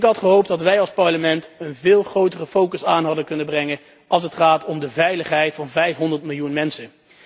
Ik had gehoopt dat wij als Parlement een veel grotere focus hadden kunnen aanbrengen als het gaat om de veiligheid van 500 miljoen mensen.